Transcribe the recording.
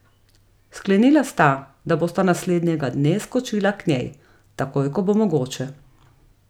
Sklenila sta, da bosta naslednjega dne skočila k njej, takoj ko bo mogoče.